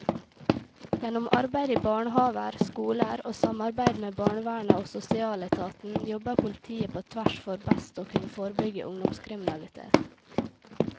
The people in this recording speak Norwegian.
Gjennom arbeid i barnehaver, skoler og samarbeid med barnevernet og sosialetaten jobber politiet på tvers for best å kunne forebygge ungdomskriminalitet.